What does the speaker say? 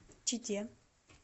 чите